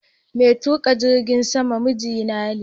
Mai tuƙa jirgin saman miji na ne.